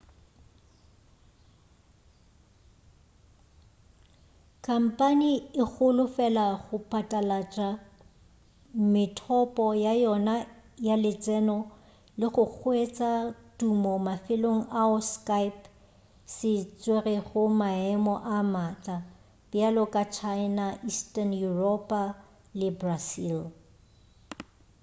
khampane e holofela go patlalatša methopo ya yona ya letseno le go hwetša tumo mafelong ao skype se tswerego maemo a matla bjalo ka china eastern yuropa le brazil